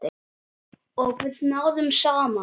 Og við náðum saman.